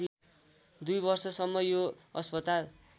दुई वर्षसम्म यो अस्पताल